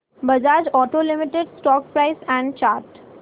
Bajaj auto limited stock price and chart